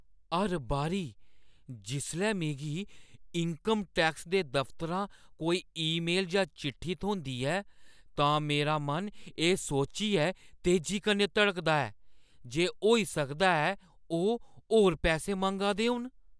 हर बारी जिसलै मिगी इन्कम टैक्स दे दफ्तरा कोई ईमेल जां चिट्ठी थ्होंदी ऐ, तां मेरा मन एह् सोचियै तेजी कन्नै धड़कदा ऐ जे होई सकदा ऐ ओह् होर पैसे मंगा दे होन।